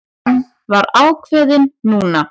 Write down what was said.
Hann var ákveðinn núna.